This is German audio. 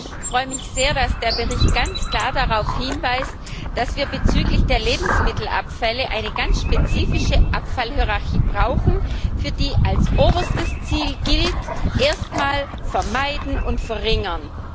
Ich freue mich sehr, dass der Bericht ganz klar darauf hinweist, dass wir bezüglich der Lebensmittelabfälle eine ganz spezifische Abfallhierarchie brauchen, für die als oberstes Ziel gilt Erst einmal vermeiden und verringern.